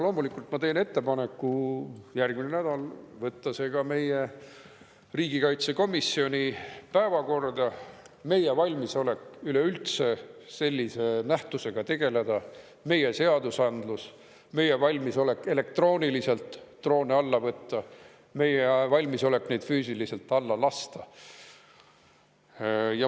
Loomulikult ma teen ettepaneku järgmisel nädalal võtta see ka meie riigikaitsekomisjoni päevakorda: meie valmisolek üleüldse sellise nähtusega tegeleda, meie seadusandlus, meie valmisolek elektrooniliselt droone alla võtta, meie valmisolek neid füüsiliselt alla lasta.